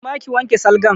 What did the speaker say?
Koma ki wanke salgan!